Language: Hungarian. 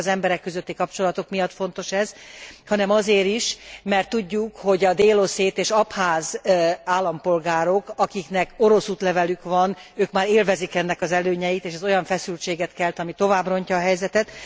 Nem csak az emberek közötti kapcsolatok miatt fontos ez, hanem azért is, mert tudjuk, hogy a dél oszét és abház állampolgárok, akiknek orosz útlevelük van, ők már élvezik ennek az előnyeit, és ez olyan feszültséget kelt, ami tovább rontja a helyzetet.